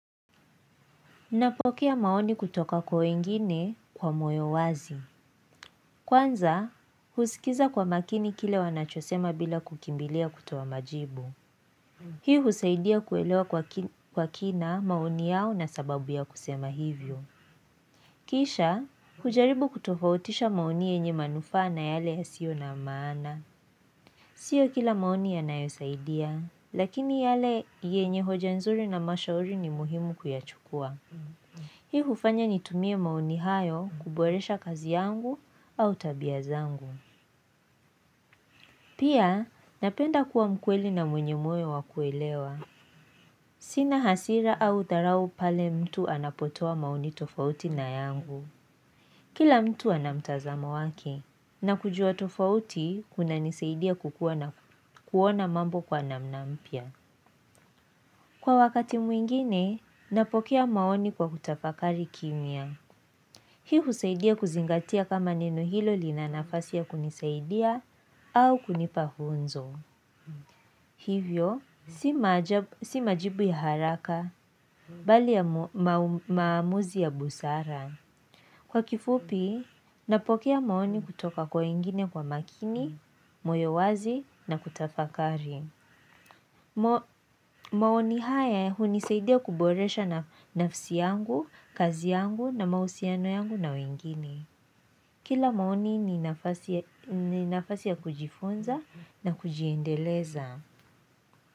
Napokea maoni kutoka kwa wengine kwa moyo wazi. Kwanza, husikiza kwa makini kile wanachosema bila kukimbilia kutoa majibu. Hii husaidia kuelewa kwa kina maoni yao na sababu ya kusema hivyo. Kisha, hujaribu kutofautisha maoni yenye manufana yale yasio na maana. Sio kila maoni yanayosaidia, lakini yale yenye hoja nzuri na mashauri ni muhimu kuyachukua. Hii hufanya nitumie maoni hayo kuboresha kazi yangu au tabia zangu. Pia napenda kuwa mkweli na mwenye moyo wa kuelewa. Sina hasira au dharau pale mtu anapotoa maoni tofauti na yangu. Kila mtu ana mtazamo wake. Na kujua tofauti, kunanisaidia kukua na kuona mambo kwa namna mpya. Kwa wakati mwingine, napokea maoni kwa kutafakari kimya. Hii husaidia kuzingatia kama neno hilo lina nafasi ya kunisaidia au kunipa funzo. Hivyo, si majibu ya haraka bali ya maamuzi ya busara. Kwa kifupi, napokea maoni kutoka kwa wengine kwa makini, moyo wazi na kutafakari. Maoni haya hunisaidia kuboresha nafsi yangu, kazi yangu na mahusiano yangu na wengine. Kila maoni ni nafasi ya kujifunza na kujiendeleza.